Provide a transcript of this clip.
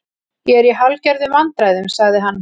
Ég er í hálfgerðum vandræðum- sagði hann.